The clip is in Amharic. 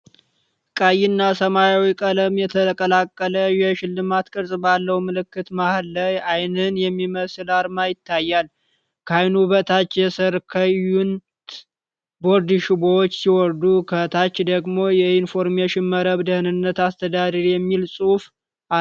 ቀይ እና ሰማያዊ ቀለም የተቀላቀለ የሽልማት ቅርጽ ባለው ምልክት መሃል ዓይንን የሚመስል አርማ ይታያል። ከዓይኑ በታች የሰርከዩት ቦርድ ሽቦዎች ሲወርዱ፣ ከታች ደግሞ “የኢንፎርሜሽን መረብ ደህንነት አስተዳደር” የሚል ጽሑፍ አለ።